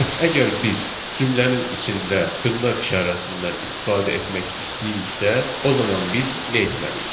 Bəs əgər biz cümlənin içində dırnaq işarəsindən istifadə etmək istəyiriksə, o zaman biz nə etməliyik?